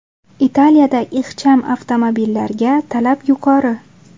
Italiyada ixcham avtomobillarga talab yuqori.